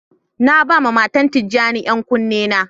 Na ba ma matan tijani yan kuni na.